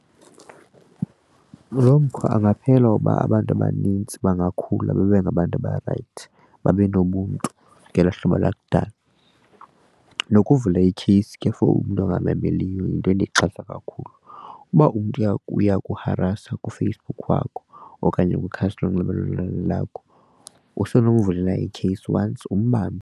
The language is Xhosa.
Lo mkhwa angaphela uba abantu abanintsi bangakhula babe ngabantu abarayithi babe nobuntu ngelo hlobo lakudala. Nokuvula ikheyisi ke for umntu angamameliyo yinto endiyixhasa kakhulu. Uba umntu uyakuharasa kuFacebook wakho okanye kwikhasi lonxibelelwano lakho usenokumvulela ikheyisi once umbambe.